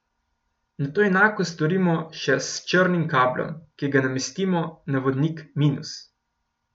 Nato enako storimo še s črnim kablom, ki ga namestimo na vodnik minus.